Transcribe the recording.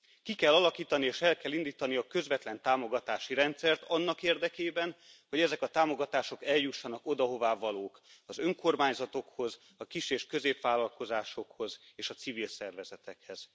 Ki kell alakítani, és el kell indítani a közvetlen támogatási rendszert annak érdekében, hogy ezek a támogatások eljussanak oda, ahová valók az önkormányzatokhoz, a kis és középvállalkozásokhoz és a civil szervezetekhez.